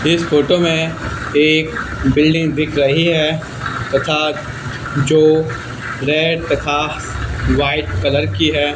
इस फोटो में एक बिल्डिंग दिख रही है तथा जो रेड तथा व्हाइट कलर की है।